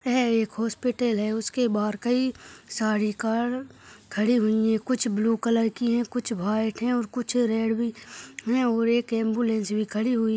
है एक हॉस्पिटल है उसके बाहर कई सारी कार खड़ी हुई है कुछ ब्लू कलर कि है कुछ व्हाइट है और कुछ रेड भी है और एक एम्बुलेंस भी खड़ी हुई --